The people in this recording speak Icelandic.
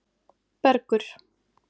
Bergur